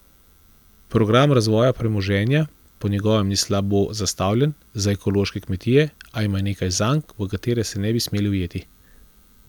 Program razvoja premoženja po njegovem ni slabo zastavljen za ekološke kmetije, a ima nekaj zank, v katere se ne bi smeli ujeti.